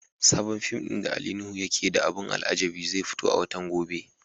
Sabon fim din da Ali Nuhu yake da abun alajabi zai fito a watan gobe.